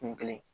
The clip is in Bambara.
Kun kelen